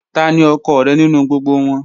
Tani ọkọ rẹ ninu gbogbo wọn?